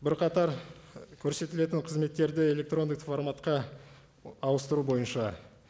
бірқатар көрсетілетін қызметтерді электрондық форматқа ауыстыру бойынша